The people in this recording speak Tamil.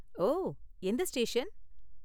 ஓ, எந்த ஸ்டேஷன்?